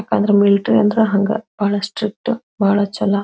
ಯಾಕಂದ್ರೆ ಮಿಲಿಟರಿ ಅಂದ್ರೆ ಹಂಗ ಬಹಳ ಸ್ಟ್ರಿಕ್ಟ್ ಬಹಳ ಛಲ.